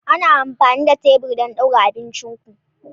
Ana amfani da tebur don ɗaura abincin ku.